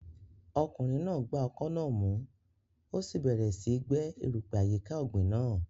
Ọkùnrin náà gba ọkọ́ náà mú, ó sì bẹ̀rẹ̀ síi gbẹ́ erùpẹ̀ àyíká ọ̀gbìn náà.